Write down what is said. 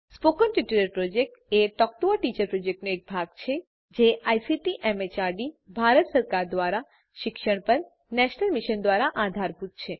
spoken tutorial project a talk to a teacher પ્રોજેક્ટનો એક ભાગ છે જે આઇસીટી એમએચઆરડી ભારત સરકાર દ્વારા શિક્ષણ પર નેશનલ મિશન દ્વારા આધારભૂત છે